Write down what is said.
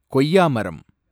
கொய்யா மரம்